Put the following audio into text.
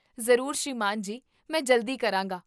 ਜ਼ਰੂਰ ਸ੍ਰੀਮਾਨ ਜੀ, ਮੈਂ ਜਲਦੀ ਕਰਾਂਗਾ